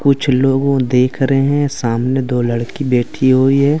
कुछ लोग वो देख रहे हैं सामने दो लड़की बैठी हुई है।